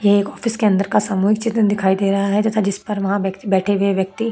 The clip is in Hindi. ये एक ऑफिसके अंदर का सामूहिक चित्र दिखाई दे रहा है तथा जिसपर वहा बैठे हुए है व्यक्ति --